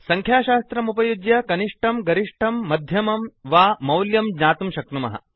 संख्याशास्त्रमुपयुज्य कनिष्टं गरिष्ठं मध्यमं वा मौल्यं ज्ञातुं शक्नुमः